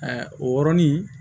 o yɔrɔnin